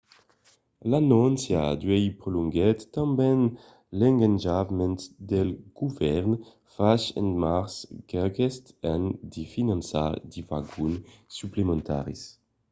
l’anóncia d’uèi prolonguèt tanben l’engatjament del govèrn fach en març d’aqueste an de finançar de vagon suplementaris